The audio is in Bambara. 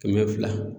Kɛmɛ fila